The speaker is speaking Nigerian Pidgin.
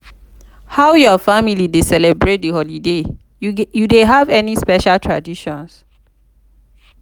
how your family dey celebrate di holidays you dey have any special traditions?